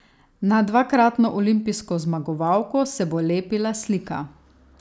Na dvakratno olimpijsko zmagovalko se bo lepila slika.